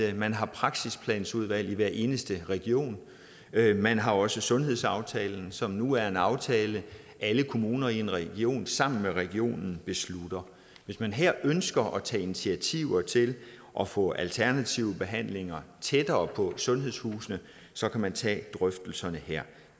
at man har praksisplanudvalg i hver eneste region man har også sundhedsaftalen som nu er en aftale alle kommuner i en region sammen med regionen beslutter hvis man her ønsker at tage initiativer til at få alternative behandlere tættere på sundhedshusene så kan man tage drøftelserne der